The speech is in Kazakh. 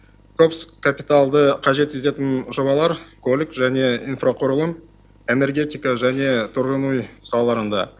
көп капиталды қажет ететін жобалар көлік және инфрақұрылым энергетика және тұрғын үй салаларында